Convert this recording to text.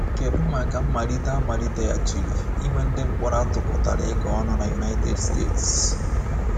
Kedụ maka mmalite a maliteghachiri inwe ndị mkpọrọ a tụkọtara ịga ọnụ na United States?